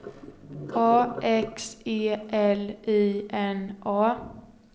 A X E L I N A